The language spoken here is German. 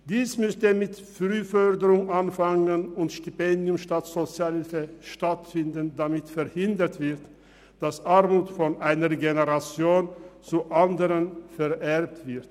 Man müsste mit Frühförderung anfangen, und es müsste mit Stipendien statt Sozialhilfe unterstützt werden, damit verhindert wird, dass Armut von einer Generation zur anderen vererbt wird.